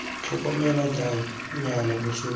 tlhokomela jang nnyaa loso lo